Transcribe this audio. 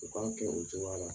U k'a kɛ cogoya la.